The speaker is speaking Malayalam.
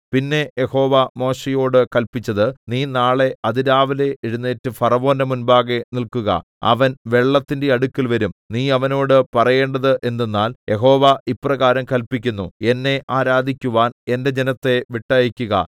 പിന്നെ യഹോവ മോശെയോട് കല്പിച്ചത് നീ നാളെ അതിരാവിലെ എഴുന്നേറ്റ് ഫറവോന്റെ മുമ്പാകെ നില്ക്കുക അവൻ വെള്ളത്തിന്റെ അടുക്കൽ വരും നീ അവനോട് പറയേണ്ടത് എന്തെന്നാൽ യഹോവ ഇപ്രകാരം കല്പിക്കുന്നു എന്നെ ആരാധിക്കുവാൻ എന്റെ ജനത്തെ വിട്ടയയ്ക്കുക